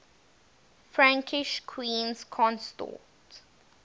frankish queens consort